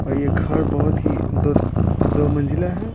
और ये घर बहुत ही दो दो मंजिला है।